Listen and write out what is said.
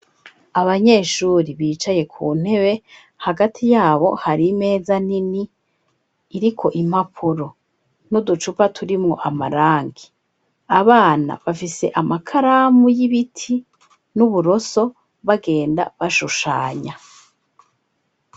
Abanyeshuri bicaye ku ntebe hagati yabo hari meza nini iriko impapuro n'uducupa turimwo amarangi abana bafise amakaramu y'ibiti n'uburoso bagenda bashushanya.